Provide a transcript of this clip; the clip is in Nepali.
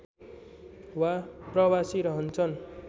वा प्रवासी रहन्छन्